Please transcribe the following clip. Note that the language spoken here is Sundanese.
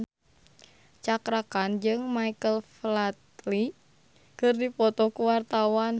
Cakra Khan jeung Michael Flatley keur dipoto ku wartawan